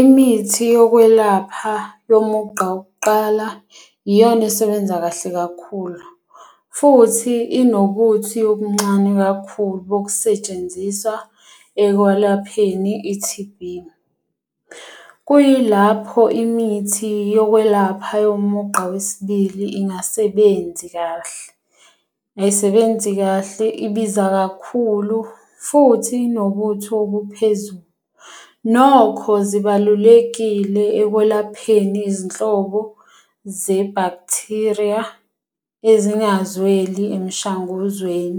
Imithi yokwelapha yomugqa wokuqala iyona esebenza kahle kakhulu. Futhi inobuthi obuncane kakhulu bokusetshenziswa ekwalapheni i-T_B. Kuyilapho imithi yokwelapha yomugqa wesibili ingasebenzi kahle. Ayisebenzi kahle, ibiza kakhulu, futhi inobuthi obuphezulu. Nokho zibalulekile ekwelapheni izinhlobo ze-bacteria ezingazweli emishanguzweni